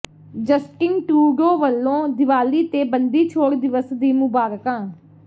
Justin Trudeau ਵੱਲੋਂ ਦੀਵਾਲੀ ਤੇ ਬੰਦੀਛੋੜ ਦਿਵਸ ਦੀਆਂ ਮੁਬਾਰਕਾਂ